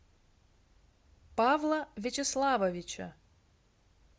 павла вячеславовича